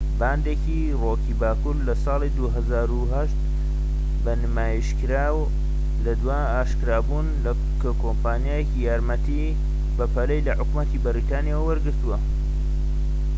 بانکی ڕۆکی باکوور لە ساڵی 2008 بە نیشتیمانیکرا لە دوای ئاشکرابوون کە کۆمپانیاکە یارمەتی بەپەلەی لە حکومەتی بەریتانیا وەرگرتووە